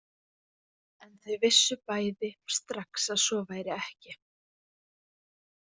En þau vissu bæði strax að svo væri ekki.